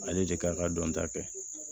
Ale de kan ka dɔn ta kɛ